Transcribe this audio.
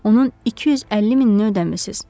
Onun 250 minini ödəmisiz.